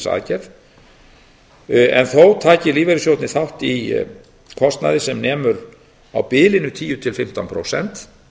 aðgerð en þó taki lífeyrissjóðirnir þátt í kostnaði sem nemur á bilinu tíu til fimmtán prósent